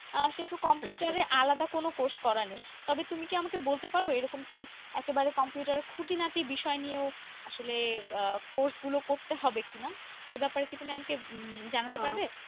আর সেহেতু computer এর আলাদা কোনো course করা নেই তবে তুমি কি আমাকে বলতে পার, এরকম কি একেবারে computer এর খুঁটিনাটি বিষয় নিয়েও, আসলে আহ course গুলো করতে হবে কি না। এ ব্যাপারে কি তুমি আমাকে উম জানাতে পারবে।